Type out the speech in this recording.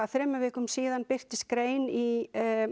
þremur vikum síðan birtist grein í